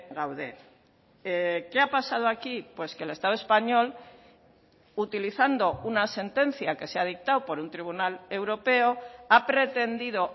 gaude qué ha pasado aquí pues que el estado español utilizando una sentencia que se ha dictado por un tribunal europeo ha pretendido